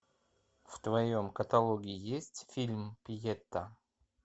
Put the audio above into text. в твоем каталоге есть фильм пьета